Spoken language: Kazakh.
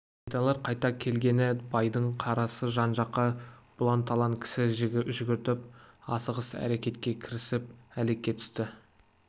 есентайлар қайта келгелі байдың қорасы жан-жаққа бұлан-талан кісі жүгіртіп асығыс әрекетке кірісіп әлекке түсті